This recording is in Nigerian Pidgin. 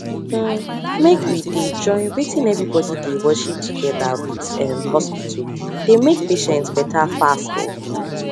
hmmmmake we dey join wetin everybody dey worship together with um hospital dey make patient better fast um